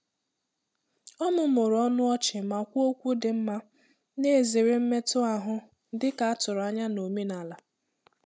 Ọ mụmụrụ ọnụ ọchị ma kwuo okwu dị mma, na-ezere mmetụ ahụ dị ka a tụrụ anya na omenala.